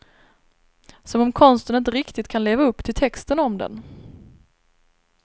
Som om konsten inte riktigt kan leva upp till texten om den.